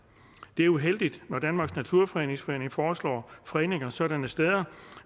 det er uheldigt når danmarks naturfredningsforening foreslår fredninger sådanne steder